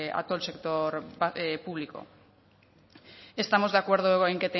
a todo el sector público estamos de acuerdo en